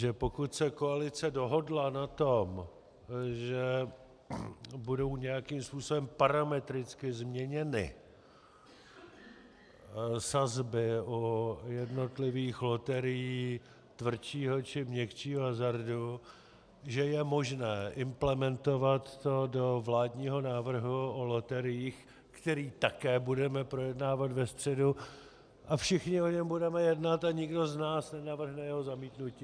Že pokud se koalice dohodla na tom, že budou nějakým způsobem parametricky změněny sazby u jednotlivých loterií tvrdšího či měkčího hazardu, že je možné implementovat to do vládního návrhu o loteriích, který také budeme projednávat ve středu, a všichni o něm budeme jednat a nikdo z nás nenavrhne jeho zamítnutí.